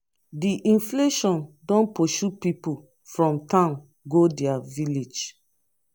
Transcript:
di inflation don pursue pipu from town go their village.